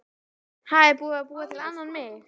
Ha, er búið að búa til annan mig?